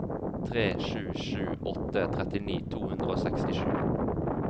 tre sju sju åtte trettini to hundre og sekstisju